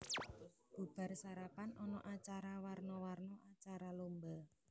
Bubar sarapan ana acara warna warna acara lomba